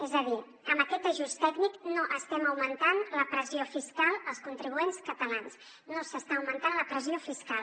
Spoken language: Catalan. és a dir amb aquest ajust tècnic no estem augmentant la pressió fiscal als contribuents catalans no s’està augmentant la pressió fiscal